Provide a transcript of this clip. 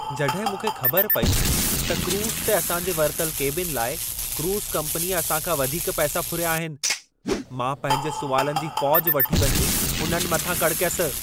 जॾहिं मूंखे ख़बर पेई त क्रूज़ ते असां जे वरितल केबिन लाइ क्रूज़ कम्पनीअ असां खां वधीक पैसा फुरिया आहिनि, मां पंहिंजे सुवालनि जी फ़ौज वठी वञी उन्हनि मथां कड़कयसि।